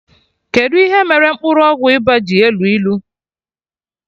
Kedụ ihe mere mkpụrụ ọgwụ ịba ji elu ilu?